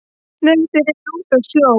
Nei þeir eru úti á sjó